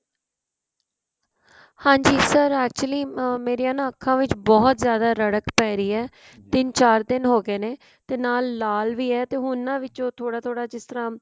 ਹਾਂਜੀ sir actually ਮੇਰੀਆ ਅੱਖਾਂ ਵਿੱਚ ਬਹੁਤ ਜਿਆਦਾ ੜੜਕ ਪੈ ਰਹੀ ਏ ਤਿੰਨ ਚਾਰ ਦਿਨ ਹੋ ਗਏ ਨੇ ਤੇ ਨਾਲ ਲਾਲ ਵੀ ਏ ਤੇ ਹੁਣ ਨਾ ਵਿਚੋ ਥੋੜਾ ਥੋੜਾ ਜਿਸ ਤਰਾ